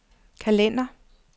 kalender